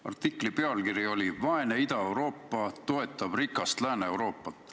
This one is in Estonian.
Artikli pealkiri oli "Indrek Neivelt: vaene Ida-Euroopa toetab rikast Lääne-Euroopat".